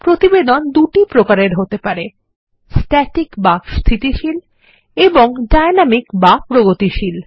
প্রতিবেদন দুটি প্রকারের হতে পারে স্ট্যাটিক বা স্থিতিশীলএবং ডাইনামিক বা প্রগতিশীল